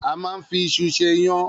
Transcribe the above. A máa ń fi iṣu ṣe iyán.